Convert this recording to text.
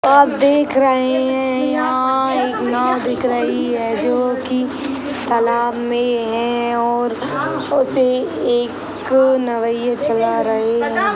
आप देख रहे हैं यहाँ एक नाव दिख रही है जोकि तालाब में है और उसे एक नवईये चला रहे हैं।